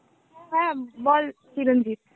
হ্যাঁ বল চিরঞ্জিত.